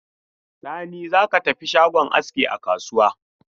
Sani, za ka tafi shagon aski a kasuwa.